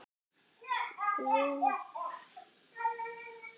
Gleði Þóris leyndi sér ekki.